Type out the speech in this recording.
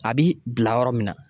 A bi bila yɔrɔ min na